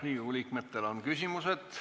Riigikogu liikmetel on küsimusi.